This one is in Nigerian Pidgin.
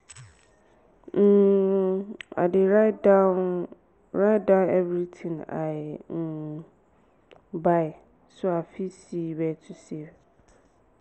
um i dey write down write down everything i um buy so i fit see where to save.